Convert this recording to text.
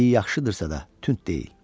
Yaxşıdırsa da, tünt deyil.